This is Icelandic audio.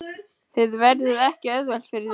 Það verður ekki auðvelt fyrir þig.